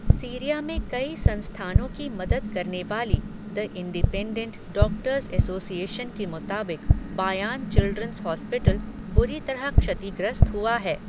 Syria में कई संस्थानों की मदद करने वाली, द इंडिपेंडेंट डॉक्टर्स एसोसिएशन के मुताबिक़, बायान चिल्ड्रन्स हॉस्पिटल, बुरी तरह क्षतिग्रस्त हुआ है.